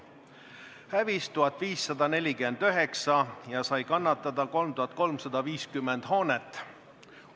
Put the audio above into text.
Hävis 1549 hoonet ja kannatada sai 3350 hoonet.